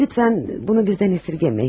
Lütfən bunu bizdən əsirgəyin.